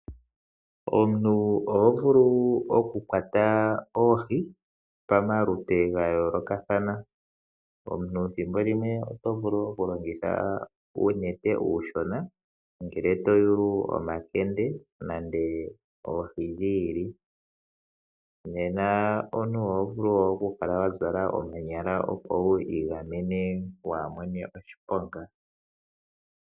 Omuntu oho vulu okukwata oohi pamaludhi gayoolokathana. Omuntu oto vulu okulongitha uunete okashona ngele to yulu omakene nenge oohi dhi ili. Oho vulu wo okuzala omanyala, opo wi igamene kuu mone oshiponga.